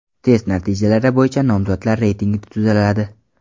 Test natijalari bo‘yicha nomzodlar reytingi tuziladi.